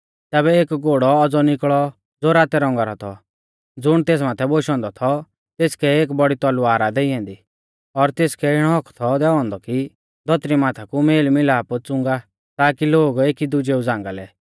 तैबै एक घोड़ौ औज़ौ निकल़ौ ज़ो रातै रौंगा रौ थौ ज़ुण तेस माथै बोशौ औन्दौ थौ तेसकै एक बौड़ी तलवार आ देई ऐन्दी और तेसकै इणौ हक्क थौ दैऔ औन्दौ कि धौतरी माथा कु मेलमिलाप च़ुंगा ताकि लोग एकीदुजेऊ झ़ांगा लै